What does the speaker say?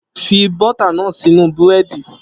Fi bọ́tà náà sínú Búrẹ́dì!